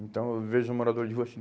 Então, eu vejo o morador de rua assim.